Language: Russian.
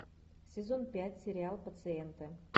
сезон пять сериал пациенты